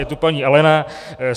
Je to paní Alena.